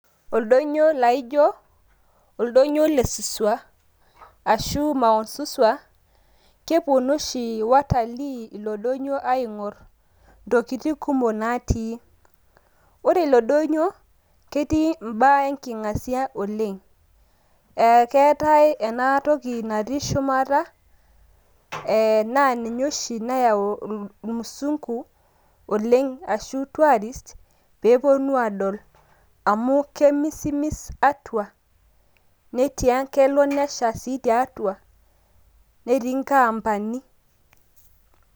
Oldoinyio laijo, oldoinyio le Suswa ashu mount Suswa keponu oshi watalii ilo doinyio aing`orr ntokitin kumok natii. Ore ilo doinyio ketii im`baa enking`asia oleng. Eee keetai ena toki natii shumata naa ninye oshi nayau ilmusunku oleng ashu tourist pee eponu aadol amu kemisimis atua. Netia kelo nesha sii tiatua netii nkaampani.